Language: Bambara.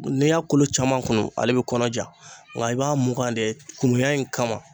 N'i y'a kolo caman kunun, ale bɛ kɔnɔja, nka i b'a mugan de kuruya in kama.